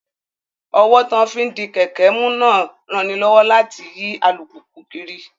Ọ́wọ́ tí wọ́n fi ń di kẹ̀kẹ́ mú náà ń ranilọ́wọ́ láti yí alùpùpù kiri